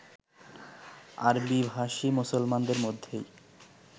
আরবিভাষী মুসলমানদের মধ্যেই